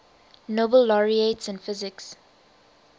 nobel laureates in physics